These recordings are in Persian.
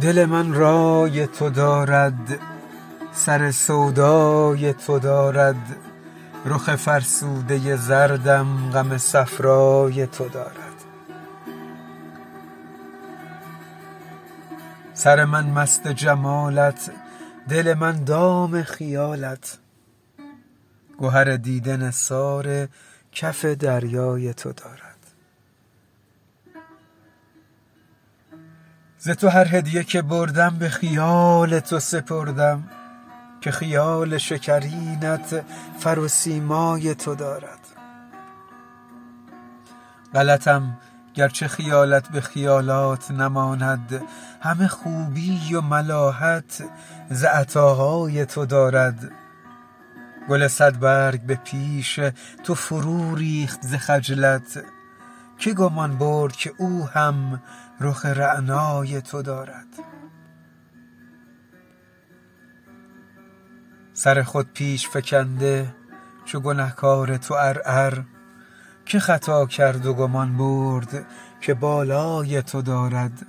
دل من رای تو دارد سر سودای تو دارد رخ فرسوده زردم غم صفرای تو دارد سر من مست جمالت دل من دام خیالت گهر دیده نثار کف دریای تو دارد ز تو هر هدیه که بردم به خیال تو سپردم که خیال شکرینت فر و سیمای تو دارد غلطم گرچه خیالت به خیالات نماند همه خوبی و ملاحت ز عطاهای تو دارد گل صدبرگ به پیش تو فروریخت ز خجلت که گمان برد که او هم رخ رعنای تو دارد سر خود پیش فکنده چو گنه کار تو عرعر که خطا کرد و گمان برد که بالای تو دارد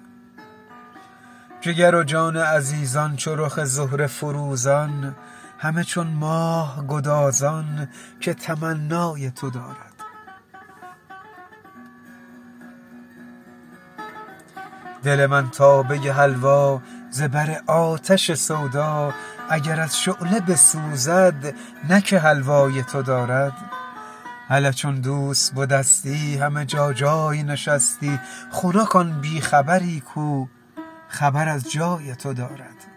جگر و جان عزیزان چو رخ زهره فروزان همه چون ماه گدازان که تمنای تو دارد دل من تابه حلوا ز بر آتش سودا اگر از شعله بسوزد نه که حلوای تو دارد هله چون دوست بدستی همه جا جای نشستی خنک آن بی خبری کو خبر از جای تو دارد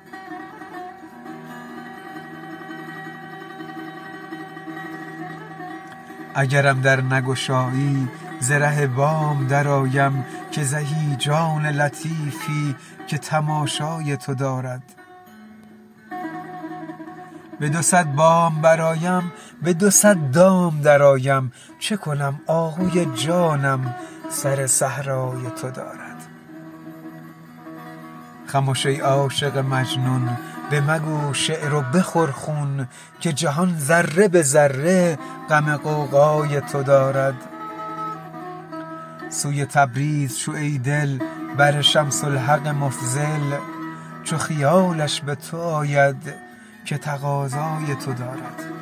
اگرم در نگشایی ز ره بام درآیم که زهی جان لطیفی که تماشای تو دارد به دو صد بام برآیم به دو صد دام درآیم چه کنم آهوی جانم سر صحرای تو دارد خمش ای عاشق مجنون بمگو شعر و بخور خون که جهان ذره به ذره غم غوغای تو دارد سوی تبریز شو ای دل بر شمس الحق مفضل چو خیالش به تو آید که تقاضای تو دارد